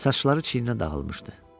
Saçları çiyninə dağılmışdı.